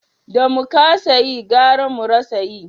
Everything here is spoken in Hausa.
Da mu kasa yi gara mu rasa yi